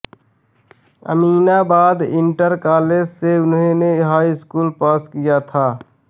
Aminabad inter college से उन्होंने high school pass किया था